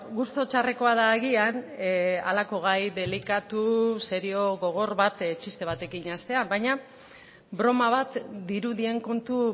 gustu txarrekoa da agian halako gai delikatu serio gogor bat txiste batekin hastea baina broma bat dirudien kontu